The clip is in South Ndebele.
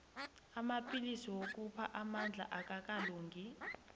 amapillisi wokupha amandla akakalungi